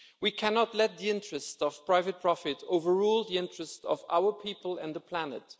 We cannot let the interests of private profit overrule the interests of our people and the planet.